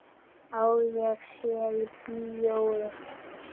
Að ég sé í bíói.